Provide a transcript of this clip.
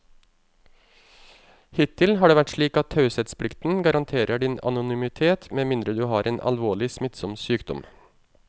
Hittil har det vært slik at taushetsplikten garanterer din anonymitet med mindre du har en alvorlig, smittsom sykdom.